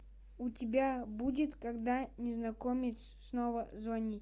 у тебя будет когда незнакомец снова звонит